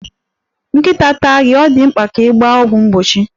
Nkịta taa gị, ọ dị mkpa ka ị gba ọgwụ mgbochi.